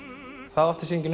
það átti sýningin